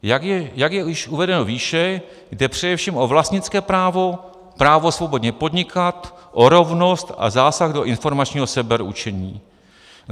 Jak je již uvedeno výše, jde především o vlastnické právo, právo svobodně podnikat, o rovnost a zásah do informačního sebeurčení.